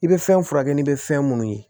I bɛ fɛn furakɛ ni bɛ fɛn minnu ye